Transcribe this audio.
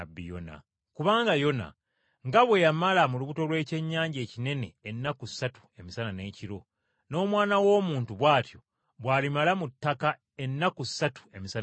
Kubanga Yona nga bwe yamala mu lubuto lw’ekyennyanja ekinene ennaku ssatu emisana n’ekiro, n’Omwana w’Omuntu bw’atyo bw’alimala mu ttaka ennaku ssatu emisana n’ekiro.